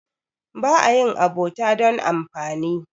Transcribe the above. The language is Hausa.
ba a yin abota don amfani